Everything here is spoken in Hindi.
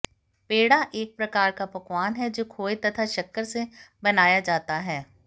पेड़ा एक प्रकार का पकवान है जो खोये तथा शक्कर से बनाया जाता है